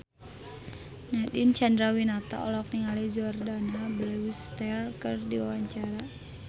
Nadine Chandrawinata olohok ningali Jordana Brewster keur diwawancara